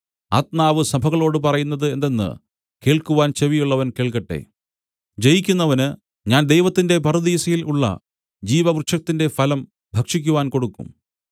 ആത്മാവ് സഭകളോടു പറയുന്നത് എന്തെന്ന് കേൾക്കുവാൻ ചെവിയുള്ളവൻ കേൾക്കട്ടെ ജയിക്കുന്നവന് ഞാൻ ദൈവത്തിന്റെ പറുദീസയിൽ ഉള്ള ജീവവൃക്ഷത്തിന്റെ ഫലം ഭക്ഷിക്കുവാൻ കൊടുക്കും